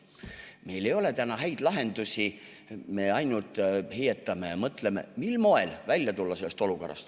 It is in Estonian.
Meil ei ole täna häid lahendusi, me ainult heietame ja mõtleme, mil moel sellest olukorrast välja tulla.